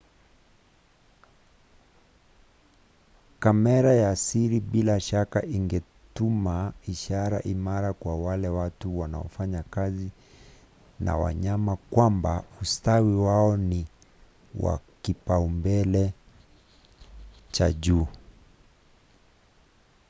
"kamera ya siri bila shaka ingetuma ishara imara kwa wale watu wanaofanya kazi na wanyama kwamba ustawi wao ni wa kipaumbele cha juu.